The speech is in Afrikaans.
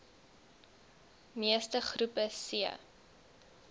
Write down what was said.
meeste groepe c